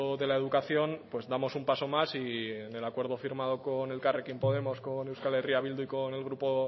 de la educación pues damos un paso más y en el acuerdo firmado con elkarrekin podemos con euskal herria bildu y con el grupo